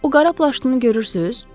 O qara plaşlını görürsüz?